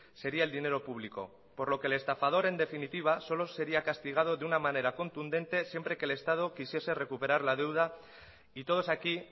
sería el dinero público por lo que el estafador en definitiva solo sería castigado de una manera contundente siempre que el estado quisiese recuperar la deuda y todos aquí